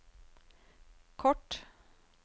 kort